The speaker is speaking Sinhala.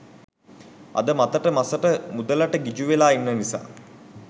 අද මතට මසට මුදලට ගිජු වෙලා ඉන්න නිසා.